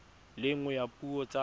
le nngwe ya dipuo tsa